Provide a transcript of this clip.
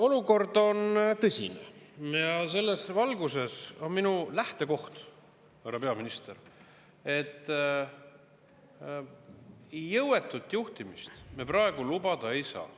Olukord on tõsine ja selles valguses on minu lähtekoht, härra peaminister, et jõuetut juhtimist me praegu lubada ei saa.